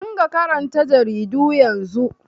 Ki riƙa karanta jaridu yanzun!